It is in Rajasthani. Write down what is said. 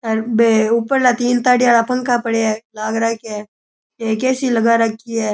अर बे उपरला तीन ताड़ी रा पंखा पड़या है लाग राख्या है एक ए.सी लगा राखी है।